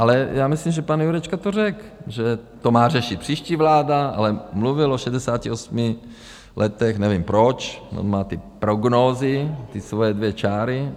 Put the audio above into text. Ale já myslím, že pan Jurečka to řekl, že to má řešit příští vláda, ale mluvil o 68 letech, nevím proč, on má ty prognózy, ty svoje dvě čáry.